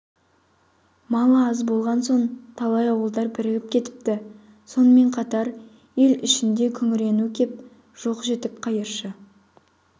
малы аз болған соң талай ауылдар бірігіп кетіпті сонымен қатар ел ішінде күңірену кеп жоқ-жітік қайыршы